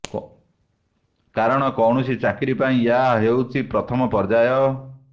କାରଣ କୌଣସି ଚାକିରି ପାଇଁ ଏହା ହେଇଛି ପ୍ରଥମ ପର୍ଯ୍ୟାୟ